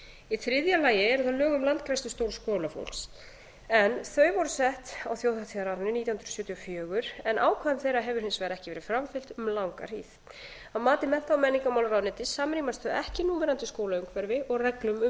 í þriðja lagi eru það lög um landgræðslustörf skólafólks en þau voru sett á þjóðhátíðarárinu nítján hundruð sjötíu og fjögur en ákvæðum þeirra hefur hins vegar ekki verið framfylgt um langa hríð að mati mennta og menningarmálaráðuneytis samrýmast þau ekki núverandi skólaumhverfi og reglum um